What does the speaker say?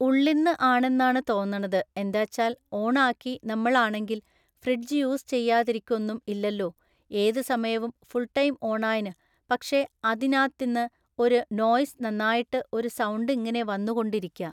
ഉള്ളിന്ന് ആണെന്നാണ് തോന്നണത് എന്താച്ചാൽ ഓൺ ആക്കി നമ്മൾ ആണെങ്കിൽ ഫ്രിഡ്ജ് യൂസ് ചെയ്യാതിരിക്കൊന്നും ഇല്ലല്ലൊ ഏത് സമയവും ഫുൾ ടൈം ഓണായിന് പക്ഷെ അതിനാത്തിന്ന് ഒരു നോയ്‌സ് നന്നായിട്ട് ഒരു സൗണ്ട് ഇങ്ങനെ വന്നു കൊണ്ട് ഇരിക്കാ